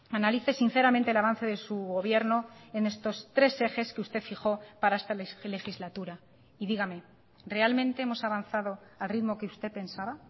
analice sinceramente el avance de su gobierno en estos tres ejes que usted fijó para esta legislatura y dígame realmente hemos avanzado al ritmo que usted pensaba